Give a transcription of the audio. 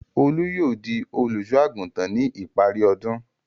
Olú yóò di olùṣọ́-àgùntàn ní ipari ọdún.